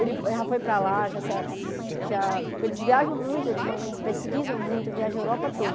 Ele já foi para lá, já sa já eles viajam muito, eles vão eles pesquisam muito, viajam a Europa toda.